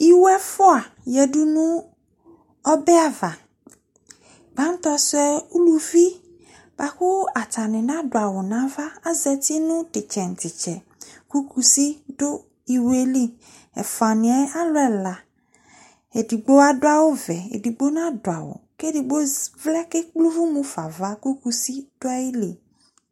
Iwu ɛfua yadu ɔbɛ ava gbatɔsu lɛ uluvi laku atani nadu awu nava azati nu titsɛ titsɛ ku kusi du iwoli ɛfuani mɛ alu ɛla edigbo adu awu ɔvɛ edigbo nadu awu ku edigbo vlɛ ku ekple uvʊ mufa ava ku kusi dʊ ayɛ li